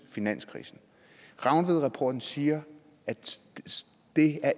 i finanskrisen rangvidrapporten siger at det